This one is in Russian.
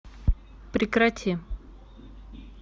прекрати